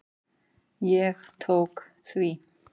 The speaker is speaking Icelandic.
Ég tók því.